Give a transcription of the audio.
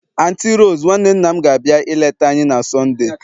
Anti Rose, nwanne nna m gabia ileta anyi na Sundee